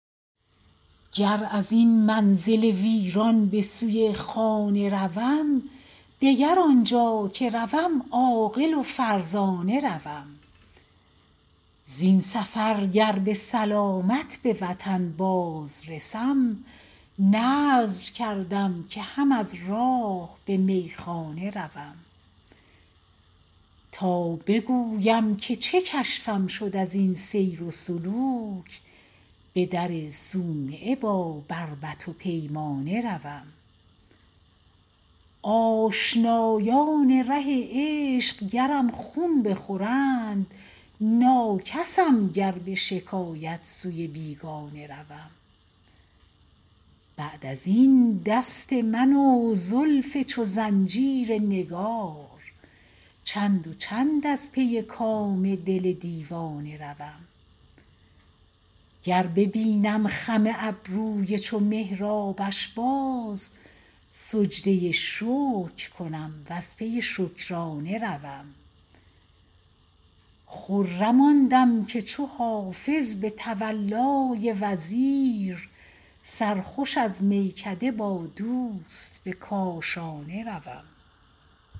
گر از این منزل ویران به سوی خانه روم دگر آنجا که روم عاقل و فرزانه روم زین سفر گر به سلامت به وطن باز رسم نذر کردم که هم از راه به میخانه روم تا بگویم که چه کشفم شد از این سیر و سلوک به در صومعه با بربط و پیمانه روم آشنایان ره عشق گرم خون بخورند ناکسم گر به شکایت سوی بیگانه روم بعد از این دست من و زلف چو زنجیر نگار چند و چند از پی کام دل دیوانه روم گر ببینم خم ابروی چو محرابش باز سجده شکر کنم و از پی شکرانه روم خرم آن دم که چو حافظ به تولای وزیر سرخوش از میکده با دوست به کاشانه روم